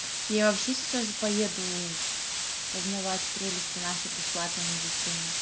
я вообще сейчас поеду познавать прелести нашей бесплатной медицины